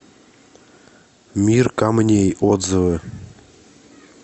мир камней отзывы